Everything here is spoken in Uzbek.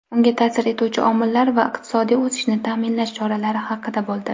unga ta’sir etuvchi omillar va iqtisodiy o‘sishni ta’minlash choralari haqida bo‘ldi.